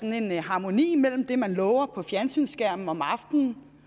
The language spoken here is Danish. en harmoni mellem det man lover på fjernsynsskærmen om aftenen